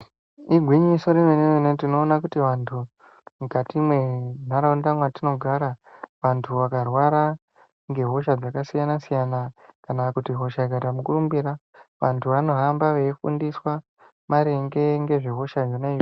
Igwiñyiso remene mene tinoona kuti vantu mukati mwentaraunda mwatinogara vantu vakarwara ngehosha dzakasiyana siyana kana kuti hosha Ikaita mukurumbira vantu vanohamba veifundiswa maringe ngezve hosha yona.